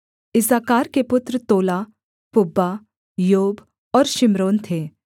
इस्साकार के पुत्र Tola Puvah Iob और शिम्रोन थे